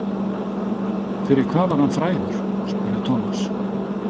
Fyrir hvað var hann frægur? spurði Thomas.